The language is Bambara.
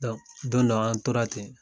don dɔ an tora ten